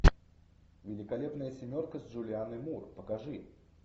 великолепная семерка с джулианной мур покажи